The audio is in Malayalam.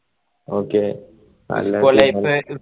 okay